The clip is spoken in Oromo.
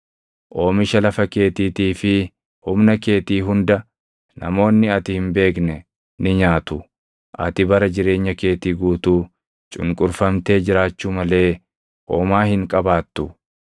Oomisha lafa keetiitii fi humna keetii hunda namoonni ati hin beekne ni nyaatu; ati bara jireenya keetii guutuu cunqurfamtee jiraachuu malee homaa hin qabaattu.